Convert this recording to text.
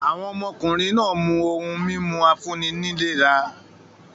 Àwọn ọmọkùnrin náà mú ohun-mímu afúnni-nílera nìkan.